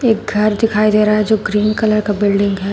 घर दिखाई दे रहा है जो क्रीम कलर का बिल्डिंग है।